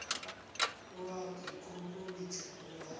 o a ikokobetša o a